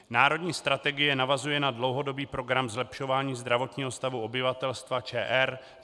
Národní strategie navazuje na dlouhodobý program zlepšování zdravotního stavu obyvatelstva ČR